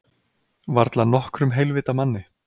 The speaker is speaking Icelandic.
Varla nokkrum heilvita manni.